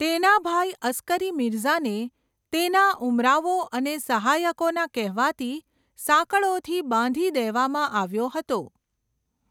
તેના ભાઈ અસ્કરી મિર્ઝાને તેના ઉમરાવો અને સહાયકોના કહેવાથી સાંકળોથી બાંધી દેવામાં આવ્યો હતો.